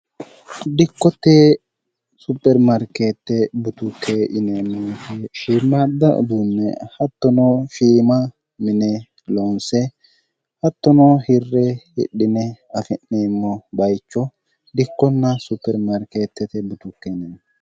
dikkotte supermarkeette butukke ineemmonfe shiirmaadda uduunme hattonoo shiima mine loonse hattonoo hirre hidhine afi'neemmo bayicho dikkonna supermarkeettete butukkenne